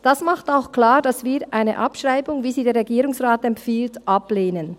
Das macht auch klar, dass wir eine Abschreibung, wie sie der Regierungsrat empfiehlt, ablehnen.